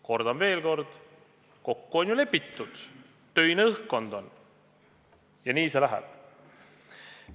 Kordan veel: kokku on ju lepitud, õhkkond on töine ja nii see läheb.